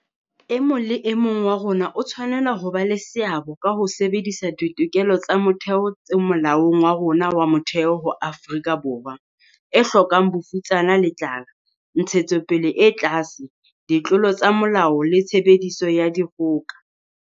E mong le e mong wa rona o tshwanela ho ba le seabo ka ho sebedisa ditokelo tsa motheo tse Molaong wa rona wa Motheo ho aha Afrika Borwa e hlokang bofutsana le tlala, ntshetsopele e tlase, ditlolo tsa molao le tshebediso ya dikgoka.